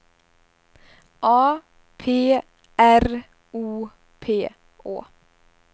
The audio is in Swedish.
A P R O P Å